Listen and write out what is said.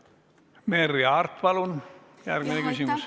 Merry Aart, palun järgmine küsimus!